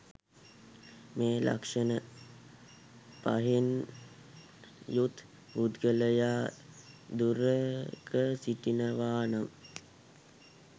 මේ ලක්ෂණ පහෙන් යුත් පුද්ගලයා දුරක සිටිනවා නම්